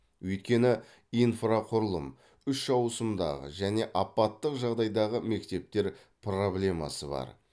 өйткені инфрақұрылым үш ауысымдағы және апаттық жағдайдағы мектептер проблемасы бар